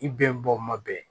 I bɛnbɔ ma bɛn